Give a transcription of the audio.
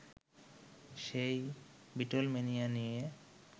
সেই বিটলম্যানিয়া নিয়ে